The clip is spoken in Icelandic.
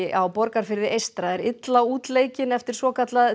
á Borgarfirði eystra er illa útleikinn eftir svokallað